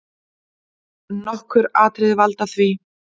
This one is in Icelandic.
Nokkur atriði valda því.